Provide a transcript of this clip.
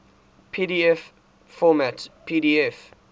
pdf format pdf